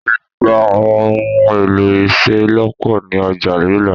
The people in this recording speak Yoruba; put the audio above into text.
O lè gba àwọn ohun èlò ìṣelọ́pọ̀ ni Ọjà Yolla